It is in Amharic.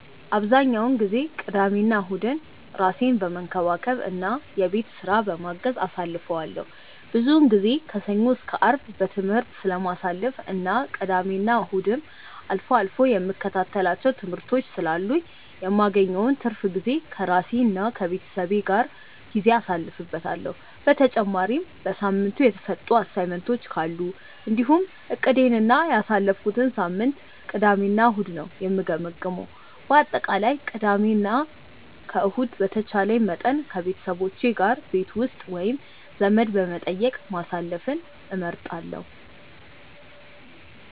አብዛኛውን ጊዜ ቅዳሜና እሁድን ራሴን በመንከባከብ እና የቤት ስራ በማገዝ አሳልፈዋለሁ። ብዙውን ጊዜ ከሰኞ እስከ አርብ በትምህርት ስለማሳልፍ እና ቅዳሜና እሁድም አልፎ አልፎ የምከታተላቸው ትምህርቶች ስላሉኝ የማገኘውን ትርፍ ጊዜ ከራሴ ጋር እና ከቤተሰቤ ጋር ጊዜ አሳልፍበታለሁ። በተጨማሪም በሳምንቱ የተሰጡ አሳይመንቶች ካሉ እንዲሁም እቅዴን እና ያሳለፍኩትን ሳምንት ቅዳሜ እና እሁድ ነው የምገመግመው። በአጠቃላይ ቅዳሜ እና ከእሁድ በተቻለኝ መጠን ከቤተሰቦቼ ጋር ቤት ውስጥ ወይም ዘመድ በመጠየቅ ማሳለፍን እመርጣለሁ።